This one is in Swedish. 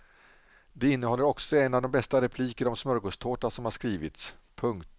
Det innehåller också en av de bästa repliker om smörgåstårta som har skrivits. punkt